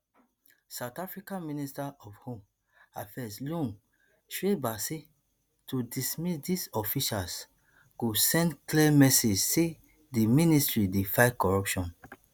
south africa minister of home affairs leon schreiber say to dismiss dis officials go send clear message say di ministry dey fight corruption